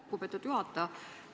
Lugupeetud juhataja!